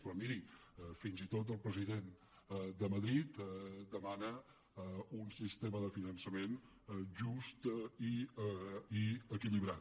però miri fins i tot el president de madrid demana un sistema de finançament just i equilibrat